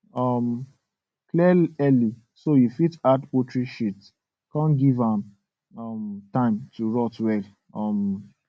um clear early so you fit add poultry sheet come give am um time to rot well um